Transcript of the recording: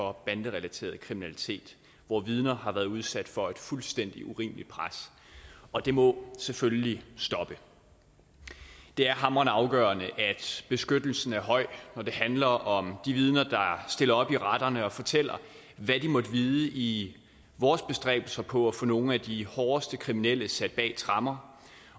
om banderelateret kriminalitet hvor vidner har været udsat for et fuldstændig urimeligt pres og det må selvfølgelig stoppe det er hamrende afgørende at beskyttelsen er høj når det handler om de vidner der stiller op i retterne og fortæller hvad de måtte vide i vores bestræbelser på at få nogle af de hårdeste kriminelle sat bag tremmer